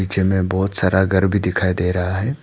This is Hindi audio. जिनमें बहुत सारा घर भी दिखाई दे रहा है।